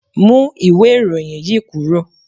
Mú ìwé ìròyìn yí kúrò.